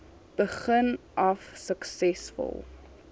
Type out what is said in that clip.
begin af suksesvol